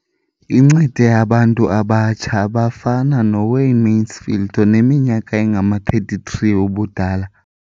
Incede abantu abatsha abafana noWayne Mansfield oneminyaka engama-33 ubudala.